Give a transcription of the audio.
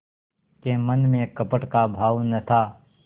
के मन में कपट का भाव न था